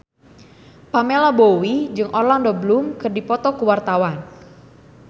Pamela Bowie jeung Orlando Bloom keur dipoto ku wartawan